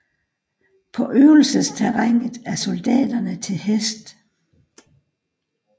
På øvelsesterrænet er soldaterne til hest